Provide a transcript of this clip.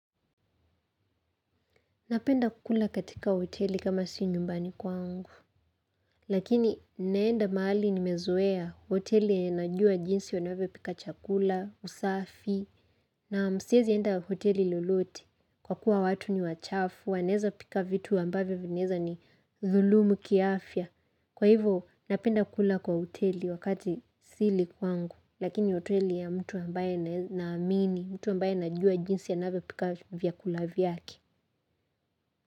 Napenda kukula katika hoteli kama si nyumbani kwangu, lakini naenda mahali nimezoea hoteli yenye najua jinsi wanavyo pika chakula, usafi, na siwezi enda hoteli lolote kwa kuwa watu ni wachafu, wanaweza pika vitu ambavyo vinaweza ni dhulumu kiafya. Kwa hivo, napenda kukula kwa hoteli wakati sili kwangu, lakini hoteli ya mtu ambaye naamini, mtu ambaye najua jinsi anavyopika vyakula vyake.